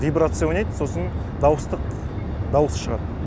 вибрация ойнайды сосын дауыс шығады